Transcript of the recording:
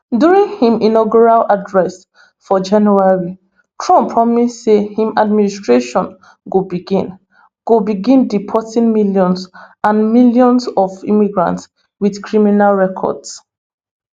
during im inaugural address for january trump promise say im administration go begin go begin deporting millions and millions of immigrants with criminal records